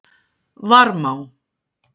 Varmá